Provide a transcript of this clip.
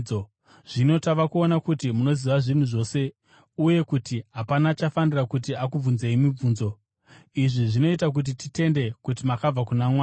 Zvino tava kuona kuti munoziva zvinhu zvose uye kuti hapana achafanira kuti akubvunzei mibvunzo. Izvi zvinoita kuti titende kuti makabva kuna Mwari.”